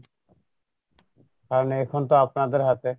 কারন এখন তো আপনাদের হাতে